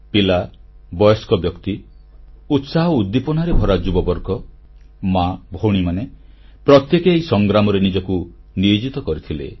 ପିଲା ବୟସ୍କ ବ୍ୟକ୍ତି ଉତ୍ସାହ ଓ ଉଦ୍ଦୀପନାରେ ଭରା ଯୁବବର୍ଗ ମା ଭଉଣୀମାନେ ପ୍ରତ୍ୟେକେ ଏହି ସଂଗ୍ରାମରେ ନିଜକୁ ନିୟୋଜିତ କରିଥିଲେ